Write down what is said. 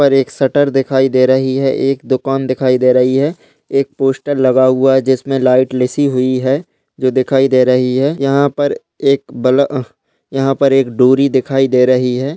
और एक शटर दिखाई दे रही है एक दुकान दिखाई दे रही है एक पोस्टर लगा हुआ है जिसमे लाइट लसि हुई है जो दिखाई दे रही है यहाँ पर एक बल्ब अह यहाँ पर एक डोरी दिखाई दे रही है।